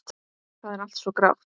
Það er allt svo grátt.